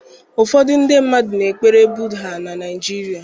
Ụfọdụ ndị na-ekpere Buddha na Naịjirịa